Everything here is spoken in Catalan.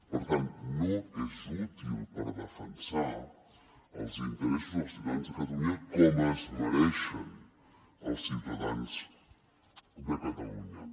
per tant no és útil per defensar els interessos del ciutadans de catalunya com es mereixen els ciutadans de catalunya